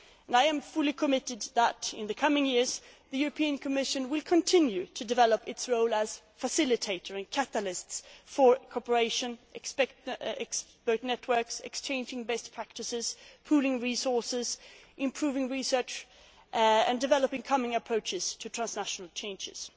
implementation. I am fully committed to ensuring that, in the coming years, the European Commission will continue to develop its role as facilitator and catalyst for cooperation, expert networks, exchanging best practices, pooling resources, improving research and developing common approaches to transnational